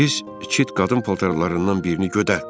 Biz iki qadın paltarlarından birini götürtdük.